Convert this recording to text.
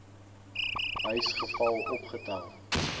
huis geval opgetel